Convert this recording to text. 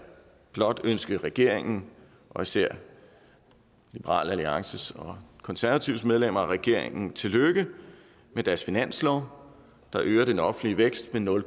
blot ønske regeringen og især liberal alliances og konservatives medlemmer af regeringen tillykke med deres finanslov der øger den offentlige vækst med nul